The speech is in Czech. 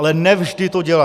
Ale ne vždy to dělá.